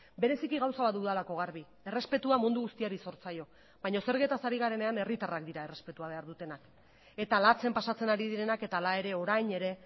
bereziki gauza bat dudalako garbi errespetua mundu guztiari zor zaio baina zergetaz ari garenean herritarrak dira errespetua behar dutenak eta latzen pasatzen ari direnak eta hala ere orain ere